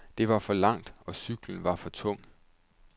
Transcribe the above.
Det var for langt, og cyklen var for tung.